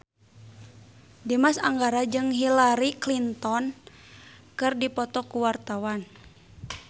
Dimas Anggara jeung Hillary Clinton keur dipoto ku wartawan